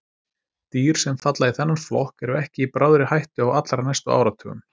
Dýr sem falla í þennan flokk eru ekki í bráðri hættu á allra næstu áratugum.